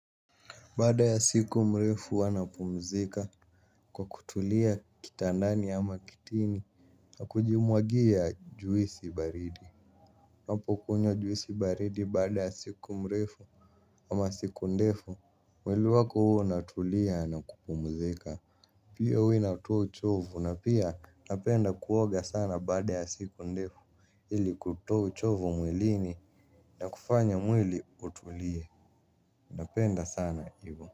Baada ya siku mrefu huwz napumzika kwa kutulia kitandani ama kitini na kujimwagia juisi baridi. Ninakunywa juisi baridi baada ya siku mrefu ama siku ndefu, mwili wako huwa unatulia na kupumzika. Pia huwa inatoa uchovu na pia napenda kuoga sana baada ya siku ndefu. Ili kutoa uchovu mwilini na kufanya mwili utulie. Napenda sana hivo.